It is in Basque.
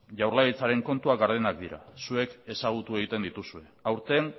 jaurlaritzaren kontuak gardenak dira zuek ezagutu egiten dituzue aurten